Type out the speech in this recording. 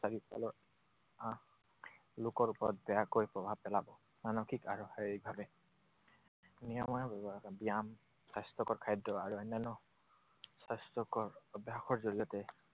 লোকৰ ওপৰত বেয়াকৈ প্ৰভাৱ পেলাব মানসিক আৰু শাৰীৰিকভাৱে। নিয়মীয়া ব্যায়াম, স্বাস্থ্যকৰ খাদ্য আৰু অন্যান্য স্বাস্থ্যকৰ অভ্যাসৰ জৰিয়তে